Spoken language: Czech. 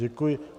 Děkuji.